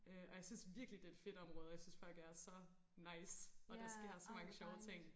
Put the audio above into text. Øh og jeg synes virkelig det er et fedt område og jeg synes folk er så nice og der sker så mange sjove ting